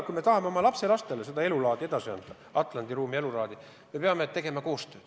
Kui me tahame oma lapselastele seda Atlandi ruumi elulaadi edasi anda, siis me peame tegema koostööd.